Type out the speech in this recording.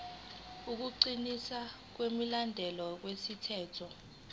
ukuqinisekisa ukulandelwa kwemithetho